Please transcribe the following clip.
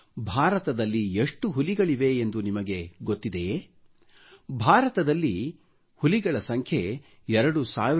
ಭಾರತದಲ್ಲಿ ಎಷ್ಟು ಹುಲಿಗಳಿವೆಯೆಂದು ನಿಮಗೆ ಗೊತ್ತಿದೆಯೇ ಭಾರತದಲ್ಲಿ ಹುಲಿಗಳ ಸಂಖ್ಯೆ 2967 ಇದೆ